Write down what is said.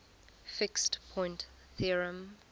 fixed point theorem